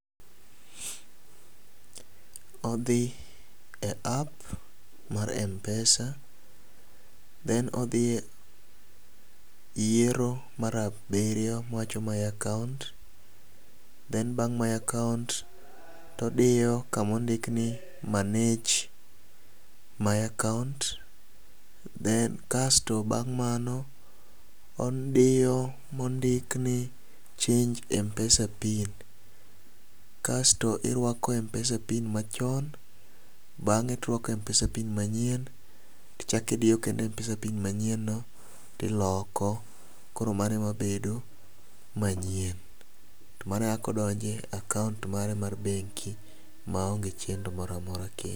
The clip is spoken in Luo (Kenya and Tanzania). Odhi e app mar mpesa then odhi e yiero mar abiriyo ma wacho my account then bang' my account todiyo kumondik ni manage my account then kasto bang' mano odiyo mondik ni change mpesa pin, kasto irwako mpesa pin machon bang'e tok mpesa pin manyien ichaki diyo kendo mpesa pin manyien no tiloko. Koro mano e ma bedo manyien mane kako donje akaunt mara mar bengi maonge chendo moramora kendo.